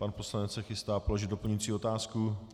Pan poslanec se chystá položit doplňující otázku.